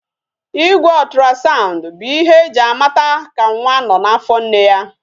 Igwe otrasandu bụ ihe eji a mata ka nwa nọ n'afọ nne ya